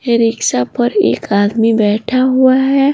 ये रिक्शा पर एक आदमी बैठा हुआ है।